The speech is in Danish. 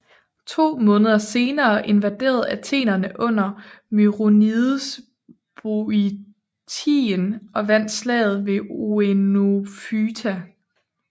To måneder senere invaderede athenerne under Myronides Boiotien og vandt Slaget ved Oenophyta